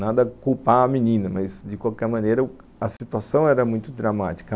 Nada a culpar a menina, mas, de qualquer maneira, a situação era muito dramática.